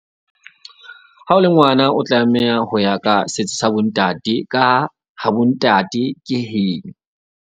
Ha o le ngwana, o tlameha ho ya ka setso sa bo ntate ka ha, ha bo ntate ke heno.